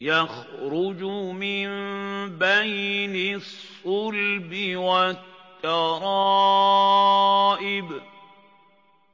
يَخْرُجُ مِن بَيْنِ الصُّلْبِ وَالتَّرَائِبِ